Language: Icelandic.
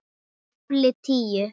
KAFLI TÍU